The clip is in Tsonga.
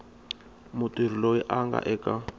mutirhi loyi a nga eka